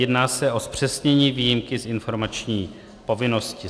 Jedná se o zpřesnění výjimky z informační povinnosti.